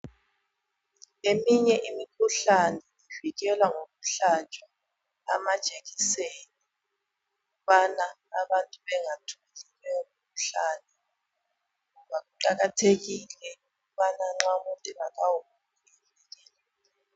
Eminye imikhuhlane ivikelwa ngokuhlatshwa amajekiseni ukubana abantu bengatholi leyo mikhuhlane. Ngoba kuqakathekile ukubana nxa umuntu engakawuguli avikele.